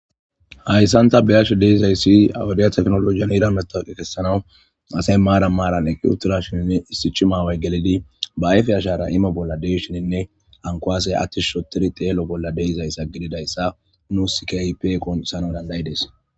Hayssanta beyasho deizayssi awudiyathefnolojiyan ira metaqe kessanawu asay maara maaran eqqutura shininne issichi maaway gelidi ba ayfe ashara imo bolla deishininne ankoasey attis shotiri teelo bolla deizayssa gididayssa nu sikaypeeqon issana dandayides.